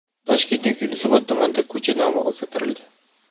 Toshkentning Yunusobod tumanidagi ko‘cha nomi o‘zgartirildi.